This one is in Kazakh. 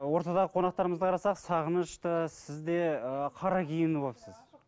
ортадағы қонақтарымызды қарасақ сағыныш та сіз де ы қара киініп алыпсыз